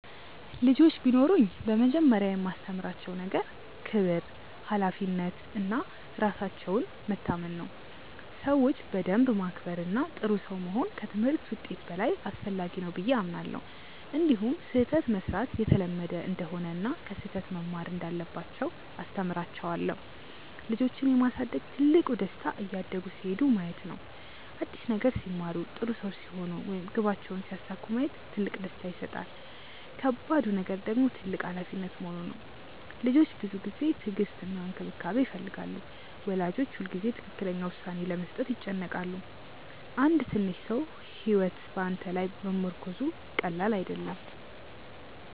ልጆች ቢኖሩኝ በመጀመሪያ የማስተምራቸው ነገር ክብር፣ ሀላፊነት እና ራሳቸውን መታመን ነው። ሰዎችን በደንብ ማክበር እና ጥሩ ሰው መሆን ከትምህርት ውጤት በላይ አስፈላጊ ነው ብዬ አምናለሁ። እንዲሁም ስህተት መሥራት የተለመደ እንደሆነ እና ከስህተት መማር እንዳለባቸው አስተምራቸዋለሁ። ልጆችን የማሳደግ ትልቁ ደስታ እያደጉ ሲሄዱ ማየት ነው። አዲስ ነገር ሲማሩ፣ ጥሩ ሰው ሲሆኑ ወይም ግባቸውን ሲያሳኩ ማየት ትልቅ ደስታ ይሰጣል። ከባዱ ነገር ደግሞ ትልቅ ሀላፊነት መሆኑ ነው። ልጆች ብዙ ጊዜ፣ ትዕግስት እና እንክብካቤ ይፈልጋሉ። ወላጆች ሁልጊዜ ትክክለኛ ውሳኔ ለመስጠት ይጨነቃሉ። አንድ ትንሽ ሰው ሕይወት በአንተ ላይ መመርኮዙ ቀላል አይደለም።